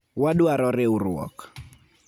Wadwaro riwruok.